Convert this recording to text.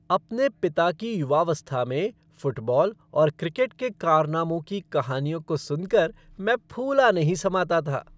अपने पिता की युवावस्था में फ़ुटबॉल और क्रिकेट के कारनामों की कहानियों को सुनकर मैं फूला नहीं समाता था।